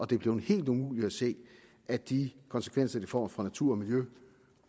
det er blevet helt umuligt at se at de konsekvenser det får for natur og miljø